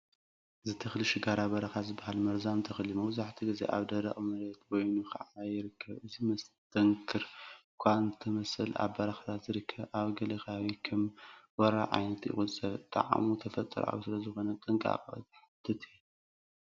እዚ ተኽሊ ሽጋራ በረኻ ዝበሃል መርዛም ተኽሊ እዩ። መብዛሕትኡ ግዜ ኣብ ደረቕ መሬት በይኑ ክዓቢ ይርከብ። እዚ መስተንክር እኳ ንተመሰለ ኣብ በረኻታት ዝርከብ፣ ኣብ ገለ ከባቢታት ከም ወራሪ ዓይነት ይቑጸር። ጣዕሙ ተፈጥሮኣዊ ስለዝኾነ ጥንቃቐ ዝሓትት እዩ።